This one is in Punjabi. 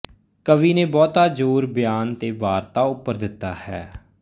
ਕਵੀ ਨੇ ਬਹੁਤਾ ਜ਼ੌਰ ਬਿਆਨ ਤੇ ਵਾਰਤਾ ਉੱਪਰ ਦਿੱਤਾ ਹੈ